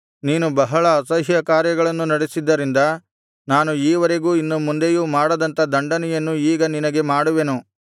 ನೀನು ಬಹಳ ಅಸಹ್ಯಕಾರ್ಯಗಳನ್ನು ನಡಿಸಿದ್ದರಿಂದ ನಾನು ಈವರೆಗೂ ಇನ್ನು ಮುಂದೆಯೂ ಮಾಡದಂಥ ದಂಡನೆಯನ್ನು ಈಗ ನಿನಗೆ ಮಾಡುವೆನು